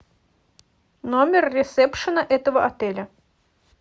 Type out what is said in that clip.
номер ресепшена этого отеля